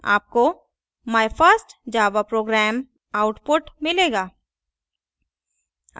आपको my first java program! output मिलेगा